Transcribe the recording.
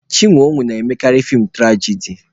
Chinwe owoh na-emekarị feem tụrajadi